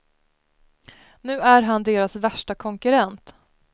Nu är han deras värsta konkurrent.